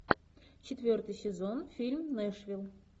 четвертый сезон фильм нэшвилл